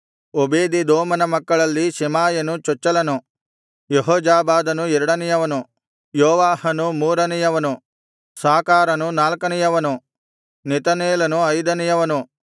ಓಬೇದೆದೋಮನ ಮಕ್ಕಳಲ್ಲಿ ಶೆಮಾಯನು ಚೊಚ್ಚಲನು ಯೆಹೋಜಾಬಾದನು ಎರಡನೆಯವನು ಯೋವಾಹನು ಮೂರನೆಯವನು ಸಾಕಾರನು ನಾಲ್ಕನೆಯವನು ನೆತನೇಲನು ಐದನೆಯವನು